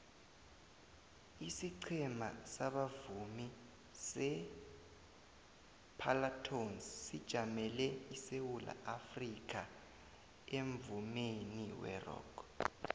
isiqhema sabavumi separlatones sijamele isewula afrikha emvumeni werock